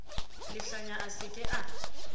lehlanya a se ke a